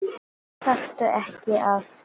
Þarftu ekki að.?